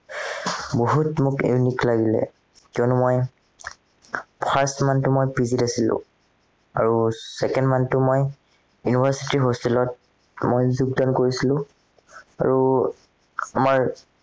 বহুত মোক লাগিলে কিয়নো মই first month মই PG ত আছিলো আৰু second month মই university hostel ত মই যোগদান কৰিছিলো আৰু আমাৰ